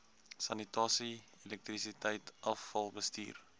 sanitasie elektrisiteit afvalbestuur